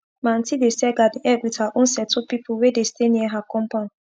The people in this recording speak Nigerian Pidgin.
my auntie dey sell garden egg with her own sauyto pipu wey dey stay near her compound